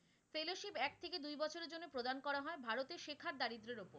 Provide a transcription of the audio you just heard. তা হয় ভারতে শেখার দারিদ্রের ওপর।